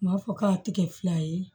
U b'a fɔ k'a tɛ kɛ fila ye